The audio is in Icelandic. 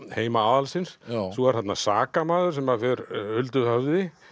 heima aðalsins svo er þarna sakamaður sem fer huldu höfði